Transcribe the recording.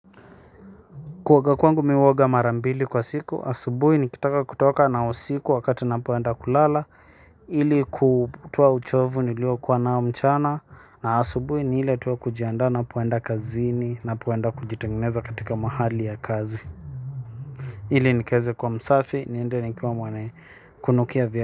Kuoga kwangu mi uoga mara mbili kwa siku, asubui nikitaka kutoka na usiku wakati napoenda kulala. Ili kutoa uchovu nilio kua nao mchana. Na asubui ni ile tu kujiandaa napoenda kazini napoenda kujitengeneza katika mahali ya kazi. Ili nikaeze kua msafi, niende nikiwa mwane kunukia vye.